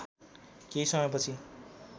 केही समयपछि